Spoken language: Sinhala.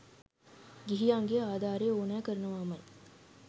ගිහියන්ගේ ආධාරය ඕනැ කරනවාමයි.